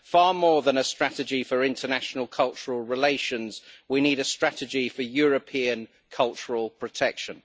Far more than a strategy for international cultural relations, we need a strategy for European cultural protection.